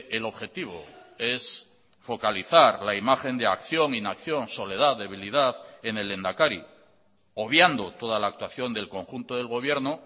el objetivo es focalizar la imagen de acción inacción soledad debilidad en el lehendakari obviando toda la actuación del conjunto del gobierno